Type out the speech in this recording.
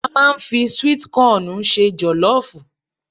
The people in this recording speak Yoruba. A máa ń fi sweet kọọ̀nù se jọ̀lọ́ọ̀fù